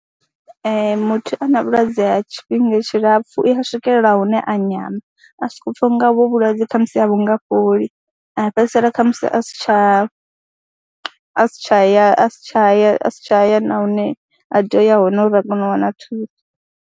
Ee, muthu a na vhulwadze ha tshifhinga tshilapfhu i a swikelela hune a nyama a sokou pfha u nga hovho vhulwadze kha musi a vhu nga fholi, a fhedzisela kha musi a si tsha a si tsha ya, a si tsha ya, a si tsha ya na hune a tea u ya hone uri a kone u wana thuso.